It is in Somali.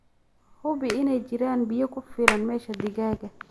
Hubi inay jiraan biyo ku filan meesha digaaga.